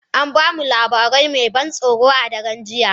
An ba mu labari mai ban tsoro a daren jiya.